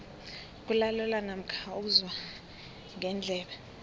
kulalelwa namkha uzwa ngendlebe